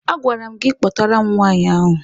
A gwara m gị kpọtara m nwaanyị ahụ!